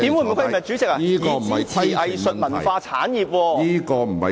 我發言提到支持藝術文創產業......